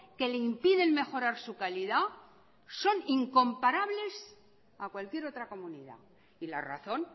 que le impiden mejorar su calidad son incomparables a cualquier otra comunidad y la razón